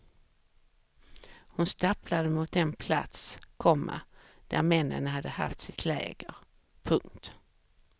Hon stapplade mot den plats, komma där männen hade haft sitt läger. punkt